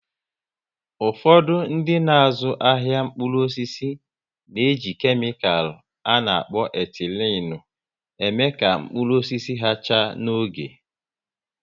Ụfọdụ dị n'azụ ahịa mkpụrụ osisi n'eji kemical a na-akpọ "etilenu" eme ka mkpụrụ osisi ha chaa n'oge